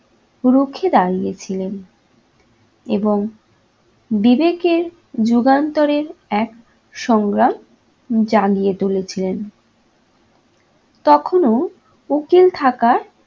রুখে দাঁড়িয়েছিলেন এবং বিবেকের যুগান্তরের এক সংজ্ঞা জাগিয়ে তুলেছিলেন। তখনও উকিল থাকায়